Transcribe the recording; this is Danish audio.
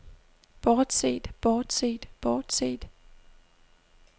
bortset bortset bortset